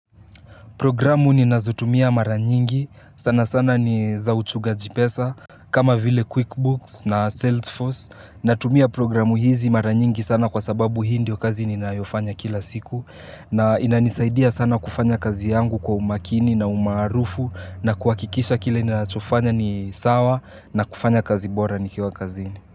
Programu ninazo tumia maranyingi, sana sana ni za uchungaji pesa, kama vile QuickBooks na Salesforce, na tumia programu hizi maranyingi sana kwa sababu hii ndio kazi ninayofanya kila siku, na inanisaidia sana kufanya kazi yangu kwa umakini na umarufu, na kuhakikisha kile ninacho fanya ni sawa, na kufanya kazi bora nikiwa kazini.